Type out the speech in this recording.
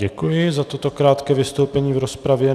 Děkuji za toto krátké vystoupení v rozpravě.